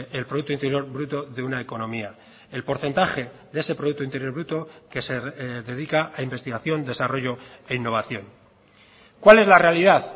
el producto interior bruto de una economía el porcentaje de ese producto interior bruto que se dedica a investigación desarrollo e innovación cuál es la realidad